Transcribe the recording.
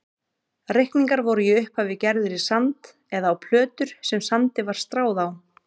Reikningar voru í upphafi gerðir í sand eða á plötur sem sandi var stráð á.